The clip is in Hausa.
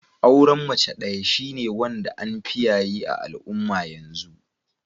Auren mace daya shine wanda an fi yaye a'alumma yanzu.